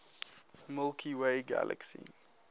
milky way galaxy